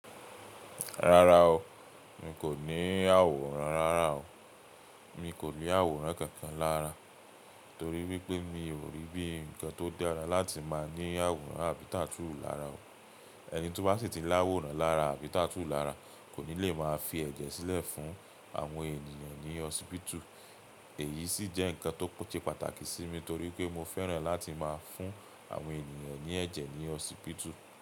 Rárá o, n kò ní àwòrán rárá o. Mi kò ní àwòrán kankan lára torí wípé mi ò rí bí ǹkan tó dára láti máa ní àwòrán àbí tatu lara o. Ẹni tó bá sì ti l'àwòrán lára àbí tatu lara kò ní le máa fi ẹ̀jẹ̀ sílẹ̀ fún àwọn ènìyàn ní hosipitu. Èyí sì jẹ́ ǹkan tó ṣe pàtàkì sí mi torí pé mo fẹ́ràn láti máa fún àwọn ènìyàn ní ẹ̀jẹ̀ ní hosipitu.